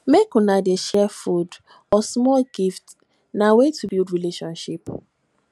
make una dey share food or small gifts na way to build relationship